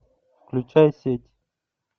включай сеть